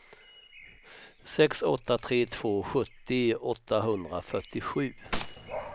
sex åtta tre två sjuttio åttahundrafyrtiosju